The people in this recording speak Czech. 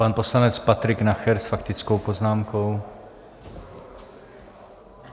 Pan poslanec Patrik Nacher s faktickou poznámkou.